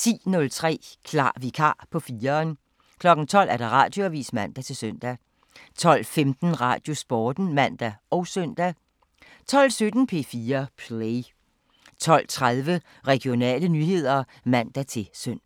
10:03: Klar vikar på 4'eren 12:00: Radioavisen (man-søn) 12:15: Radiosporten (man og søn) 12:17: P4 Play 12:30: Regionale nyheder (man-søn)